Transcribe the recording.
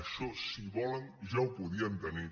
això si ho volen ja ho podien tenir